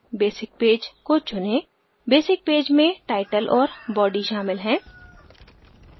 basic page को चुनें basic page में title और body शामिल है